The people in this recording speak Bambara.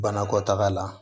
Banakɔtaga la